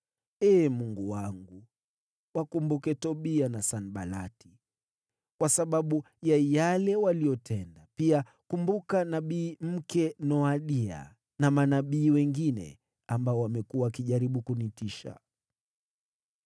Ee Mungu wangu, wakumbuke Tobia na Sanbalati kwa sababu ya yale waliyotenda. Pia kumbuka nabii mke Noadia na manabii wengine ambao wamekuwa wakijaribu kunitisha.